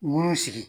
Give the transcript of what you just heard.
Nun sigi